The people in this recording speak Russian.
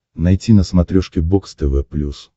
найти на смотрешке бокс тв плюс